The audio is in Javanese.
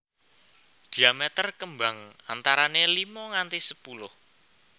Diameter kembang antarané limo nganti sepuluh